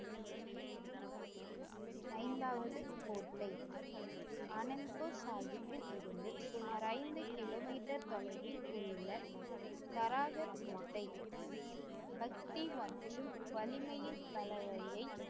ஐந்தாவது கோட்டை ஆனந்த்பூர் சாஹிப்பில் இருந்து சுமார் ஐந்து கிலோமீட்டர் தொலைவில் உள்ள தராகர் கோட்டை பக்தி மற்றும் வலிமையின் கலவையை